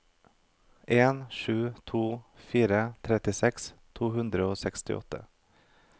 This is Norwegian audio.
en sju to fire trettiseks to hundre og sekstiåtte